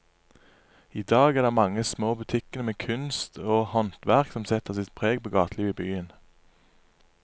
I dag er det de mange små butikkene med kunst og håndverk som setter sitt preg på gatelivet i byen.